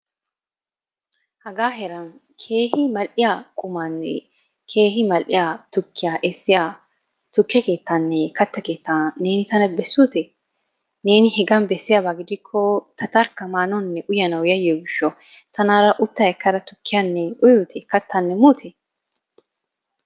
Haga heeran keeh mal"iya qumanne keehi mal"iya tukkiya essoya tukke keettanne katta keetta neeni tana bessuuye? Neeni hegan bessiyaaba gidiko ta tarkka maanawunne uyyanaw yayyiyo gishshaw tanara utta ekkada tukkiyanne uyyute? Kattanne muute?